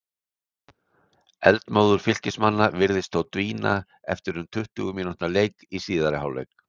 Eldmóður Fylkismanna virtist þó dvína eftir um tuttugu mínútna leik í síðari hálfleik.